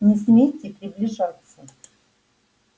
не смейте приближаться